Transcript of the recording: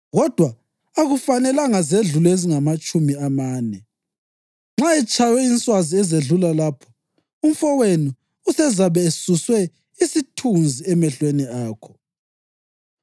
kodwa akufanelanga zedlule ezingamatshumi amane. Nxa etshaywe inswazi ezedlula lapho, umfowenu usezabe esuswe isithunzi emehlweni akho.